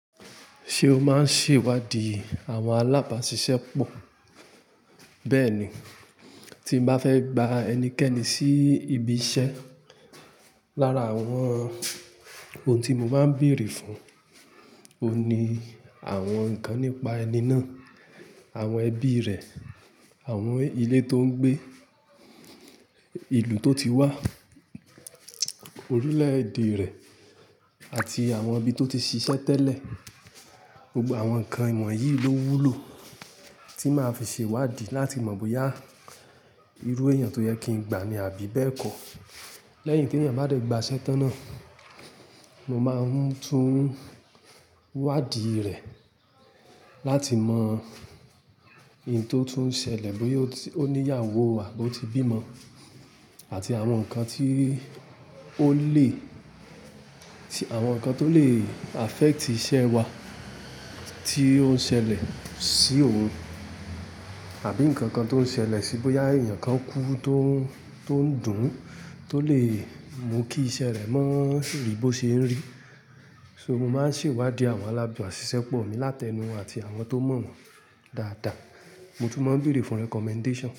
Ṣé o máa ń ṣèwádìí àwọn alábàṣiṣẹ́ pọ̀? Bẹ́ẹ̀ ni, tí n bá fẹ́ gba ẹnikẹ́ni sí ibi iṣẹ́, lára àwọn ohun tí mo máa ń bèèrè fún òun ni àwọn nǹkan nípa ẹni náà, àwọn ẹbí rẹ̀, àwọn ilé tó ń gbé, ìlú tó ti wá, orílẹ̀ èdè rẹ̀ àti àwọn ibi tó ti ṣiṣẹ́ tẹ́lẹ̀. Gbogbo àwọn ǹkan wọ̀nyí ló wúlò tí n máa fi ṣèwádìí láti mọ̀ bóyá irú èèyàn tó yẹ kí n gba ni àbí bẹ́ẹ̀ kọ́. Lẹ́yìn tí èèyàn bá dẹ̀ gba iṣẹ́ tán náà, mo máa ń tún wádìí rẹ̀ láti mọ ìyí tó tún ṣẹlẹ̀, bóyá ó ní ìyàwó à bó ti bímọ àti àwọn nǹkan tí ó lè-- àwọn nǹkan tó lè affect iṣẹ́ wa tí ó ń ṣẹlẹ̀ sí òun àbí nǹkan kan tó ń ṣẹlẹ̀ síi, bóyá èèyàn kan kú tó ń, tó ń dùn tó lè mú kí iṣẹ́ rẹ̀ mọ́ rí bó ṣe ń rí. So mo máa ń ṣèwádìí àwọn alábàṣiṣẹ́ pọ̀ mi láti ẹnu àti àwọn tó mọ̀ wọ́n dáadáa. Mo tún máa ń bèèrè fún recommendation.